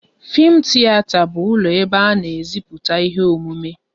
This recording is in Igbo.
Fim tiyeta bụ ụlọ ebe a na e ziputa ihe omume